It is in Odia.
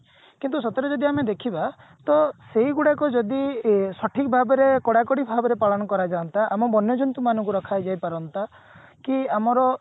କିନ୍ତୁ ସେଥିରେ ଯଦି ଆମେ ଦେଖିବା ତ ସେଇ ଗୁଡାକ ଯଦି ଅ ସଠିକ ଭାବରେ କଡାକଡି ଭାବରେ ପାଳନ କରା ଯାଆନ୍ତା ଆମ ବନ୍ୟ ଜନ୍ତୁ ମାନଙ୍କୁ ରଖା ଯାଇ ପାରନ୍ତା କି ଆମର